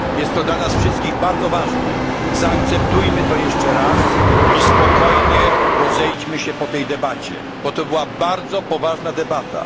Jest to dla nas wszystkich bardzo ważne. Zaakceptujmy to jeszcze raz i spokojnie rozejdźmy się po tej debacie, bo to była bardzo poważna debata.